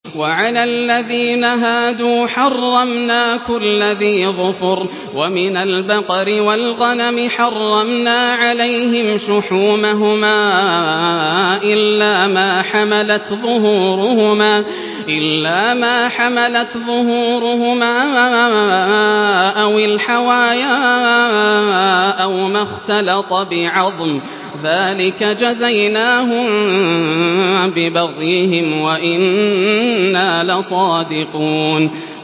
وَعَلَى الَّذِينَ هَادُوا حَرَّمْنَا كُلَّ ذِي ظُفُرٍ ۖ وَمِنَ الْبَقَرِ وَالْغَنَمِ حَرَّمْنَا عَلَيْهِمْ شُحُومَهُمَا إِلَّا مَا حَمَلَتْ ظُهُورُهُمَا أَوِ الْحَوَايَا أَوْ مَا اخْتَلَطَ بِعَظْمٍ ۚ ذَٰلِكَ جَزَيْنَاهُم بِبَغْيِهِمْ ۖ وَإِنَّا لَصَادِقُونَ